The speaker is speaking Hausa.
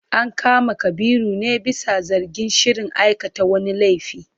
An kama Kabiru ne bisa zargin shirin aikata wani laifi.